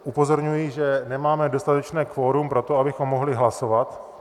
Upozorňuji, že nemáme dostatečné kvorum pro to, abychom mohli hlasovat.